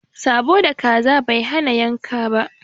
Sãbo da kaza Bai hana yanka ba